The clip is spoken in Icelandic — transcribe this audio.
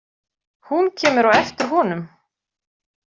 Hún kemur á eftir honum.